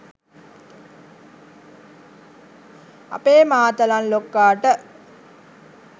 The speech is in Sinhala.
අපේ මාතලන් ලොක්කට